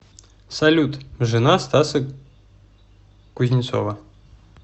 салют жена стаса кузнецова